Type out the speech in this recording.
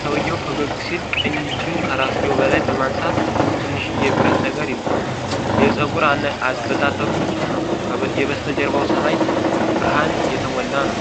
ሰውየው ፈገግ ሲል ቀኝ እጁን ከራስጌው በላይ በማንሳት ትንሽዬ ብረት ነገር ይዟል። የፀጉር አበጣጠሩ ንጹሕ ነው፣ የበስተጀርባው ሰማይ ብርሃን የተሞላ ነው።